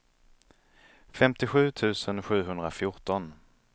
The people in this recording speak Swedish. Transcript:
femtiosju tusen sjuhundrafjorton